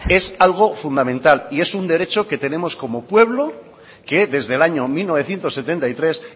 es algo fundamental y es un derecho que tenemos como pueblo que desde el año mil novecientos setenta y tres